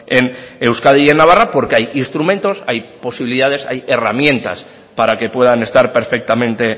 en euskadi y en navarra porque hay instrumentos hay posibilidades hay herramientas para que puedan estar perfectamente